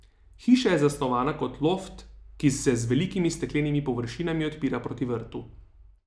Hiša je zasnovana kot loft, ki se z velikimi steklenimi površinami odpira proti vrtu.